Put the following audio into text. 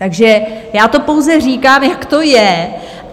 Takže já to pouze říkám, jak to je.